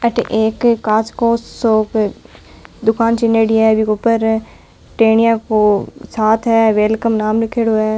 अठे एक कांच को सो दुकान चिनेडी है बीके ऊपर टेनिया को छात है वेलकम नाम लिखेड़ो है।